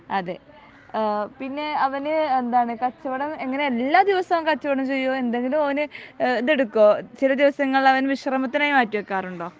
അതെ ആഹ് പിന്നെ അവന് എന്താണ് കച്ചവടം എങ്ങിനെ എല്ലാ ദിവസവും കച്ചവടം ചെയ്യുവോ എന്തെങ്കിലും ഓന് എഹ് ഇതെടുക്കോ ചില ദിവസങ്ങളിൽ അവൻ വിശ്രമത്തിനായി മാറ്റി വെക്കാറുണ്ടോ